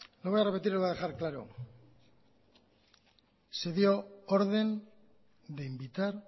lo voy a repetir y lo voy a dejar claro se dio orden de invitar